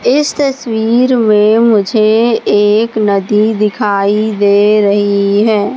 इस तस्वीर में मुझे एक नदी दिखाई दे रही है।